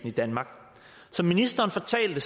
i danmark som ministeren fortalte